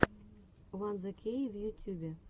ван зе кей в ютюбе